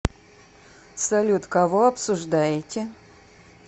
салют кого обсуждаете